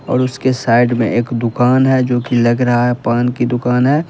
और उसके साइड में एक दुकान है जोकि लग रहा है पान की दुकान है।